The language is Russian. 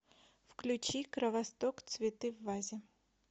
включи кровосток цветы в вазе